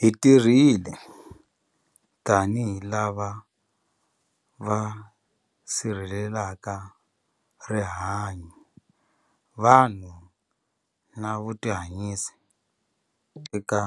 Hi tirhile tanihi lava va si rhelelaka rihanyu, vanhu na vutihanyisi eka